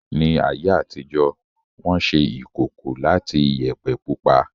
Ní ayé àtijó, Wọ́n ṣe ìkòkò láti Iyẹ̀pẹ̀ pupa